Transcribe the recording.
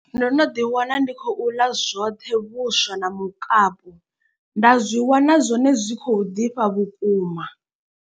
Ndo no ḓi wana ndi khou ḽa zwoṱhe vhuswa na mukapu, nda zwi wana zwone zwi khou ḓifha vhukuma.